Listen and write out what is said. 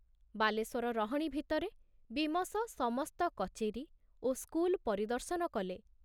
ବାଲେଶ୍ଵର ରହଣି ଭିତରେ ବୀମସ ସମସ୍ତ କଚେରୀ ଓ ସ୍କୁଲ ପରିଦର୍ଶନ କଲେ।